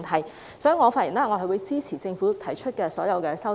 因此，我的發言是支持政府提出的所有修正案。